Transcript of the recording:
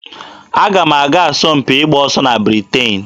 Aga m aga asọmpi ịgba ọsọ na Britain.